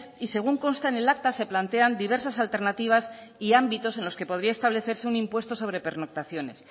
y según consta en el acta se plantean diversas alternativas y ámbitos en los que podría establecerse un impuesto sobre pernoctaciones